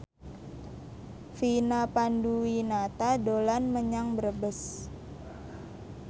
Vina Panduwinata dolan menyang Brebes